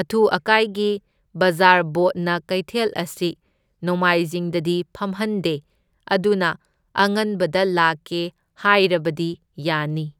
ꯑꯊꯨ ꯑꯀꯥꯏꯒꯤ ꯕꯖꯥꯔ ꯕꯣꯠꯅ ꯀꯩꯊꯦꯜ ꯑꯁꯤ ꯅꯣꯡꯃꯥꯏꯖꯤꯡꯗꯗꯤ ꯐꯝꯍꯟꯗꯦ ꯑꯗꯨꯅ ꯑꯉꯟꯕꯗ ꯂꯥꯛꯀꯦ ꯍꯥꯢꯔꯕꯗꯤ ꯌꯥꯅꯤ꯫